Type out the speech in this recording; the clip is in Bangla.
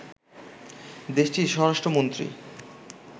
দেশটির স্বরাষ্ট্রমন্ত্রী